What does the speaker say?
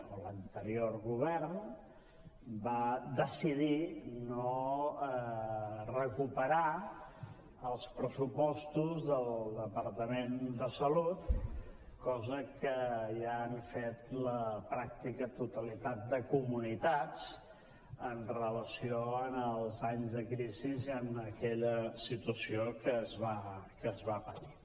o l’anterior govern va decidir no recuperar els pressupostos del departament de salut cosa que ja han fet la pràctica totalitat de comunitats amb relació als anys de crisi i a aquella situació que es va patir